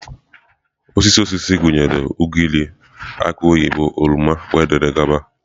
Osisi osisi gụnyere ugịrị, aki oyibo, oroma wdg.